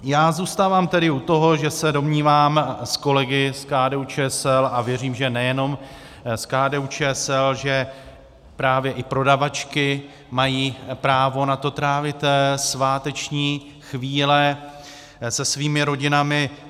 Já zůstávám tedy u toho, že se domnívám s kolegy z KDU-ČSL, a věřím, že nejenom z KDU-ČSL, že právě i prodavačky mají právo na to trávit sváteční chvíle se svými rodinami.